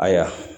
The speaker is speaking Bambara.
Ayiwa